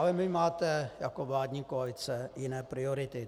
Ale vy máte, jako vládní koalice jiné priority.